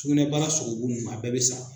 Sukunɛbara sogobu nn a bɛɛ bɛ sa.